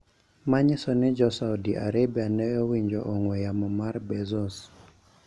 Ma nyiso ni Jo-Saudi Arabia ne owinjo ong`we yamo mar Bezos